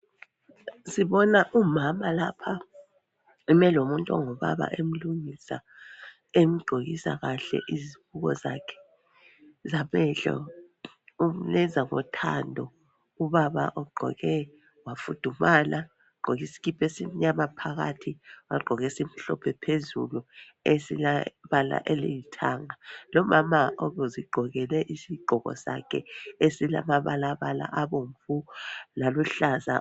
Sibona umama lapha. Eme lomuntu ongubaba. Emlungisa kahle izibuko zakhe zamehlo. Umenza ngothando. Ubaba ugqoke wafudumala. Ugqoke isikipa esimnyama phakathi. Wagqoka esimhlophe phezulu. Esilombala olithanga. Lomama uzigqokele isigqoko sakhe esilamabalabala abomvu laluhlaza.